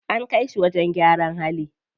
An kai shi wajen gyaran hali.